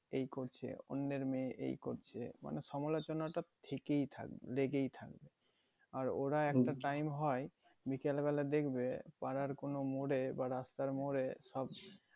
এই করছে অন্যের মেয়ে এই করছে মানে সমালোচনা টা থেকেই থাকবে লেগেই থাকবে আর ওরা একটা time বিকেল বেলা দেখবে পাড়ার কোনো মোড়ে বা রাস্তার মোড়ে